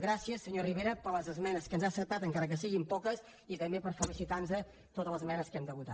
gràcies senyor rivera per les esmenes que ens ha acceptat encara que siguin poques i també per facilitar nos totes les esmenes que hem de votar